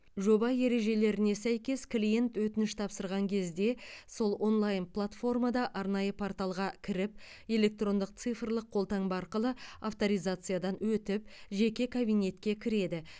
жоба ережелеріне сәйкес клиент өтініш тапсырған кезде сол онлайн платформада арнайы порталға кіріп электрондық цифрлық қолтаңба арқылы авторизациядан өтіп жеке кабинетке кіреді